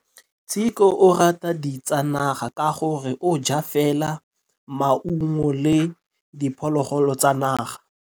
Tshekô o rata ditsanaga ka gore o ja fela maungo le diphologolo tsa naga.